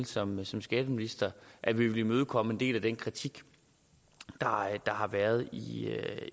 som som skatteminister at vi ville imødekomme en del af den kritik der har været i